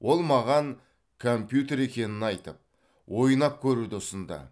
ол маған компьютер екенін айтып ойнап көруді ұсынды